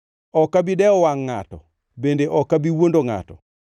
Ok abi dewo wangʼ ngʼato bende ok abi wuondo ngʼato;